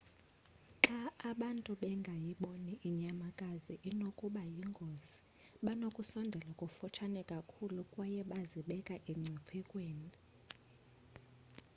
xa abantu bengayiboni inyamakazi inokuba yingozi banokusondela kufutshane kakhulu kwaye bazibeka emngciphekweni